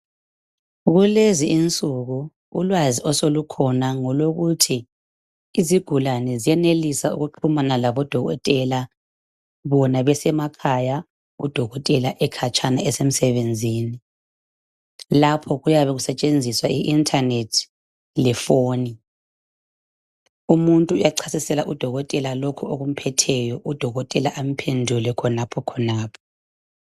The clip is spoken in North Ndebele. Kulezi insuku ulwazi osolukhona ngolokuthi isigulane siyenelisa ukuxhumana laboDokotela bona besemakhaya. Lapho kuyabe kusetshenziswa ubulembu lefoni. Umuntu uyachasisela uDokotela lokho okumphetheyo baphendulane khonapho khonapho.